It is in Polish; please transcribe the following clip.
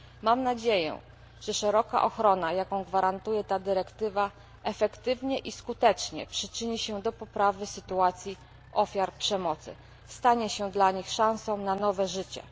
Mam nadzieję, że szeroka ochrona, jaką gwarantuje ta dyrektywa, efektywnie i skutecznie przyczyni się do poprawy sytuacji ofiar przemocy i stanie się dla nich szansą na nowe życie.